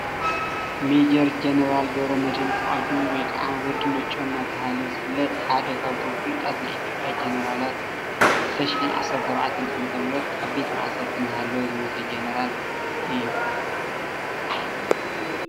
ሜጀር ጀነራል ገብረመድህን ፍቃዱ ወይከዓ ወዲ ነጮ እናተባሃለ ዝፍለጥ ሓደ ካብቶም ፍሉጣት ናይ ኢ/ያ ጀነራላት እዩ።2014 ዓ/ም ኣብ ቤት ማእሰርቲ እናሃለወ ዝሞተ ጀነራልእዩ፡፡